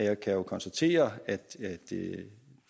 jo kan konstatere at